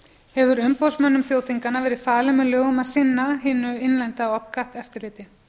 hefur umboðsmönnum þjóðþinganna verið falið með lögum að sinna hinu innlenda opcat eftirliti